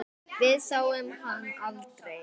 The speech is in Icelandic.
Við sáum hann aldrei.